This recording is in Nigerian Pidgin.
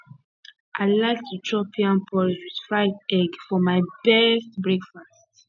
i like to chop yam porridge with fried egg for my best breakfast